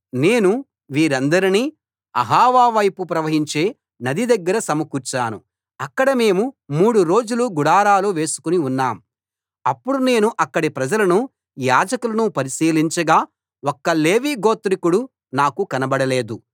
నేను వీరందరినీ అహవా వైపు ప్రవహించే నది దగ్గర సమకూర్చాను అక్కడ మేము మూడు రోజులు గుడారాలు వేసుకుని ఉన్నాం అప్పుడు నేను అక్కడి ప్రజలను యాజకులను పరిశీలించగా ఒక్క లేవీ గోత్రికుడూ నాకు కనబడలేదు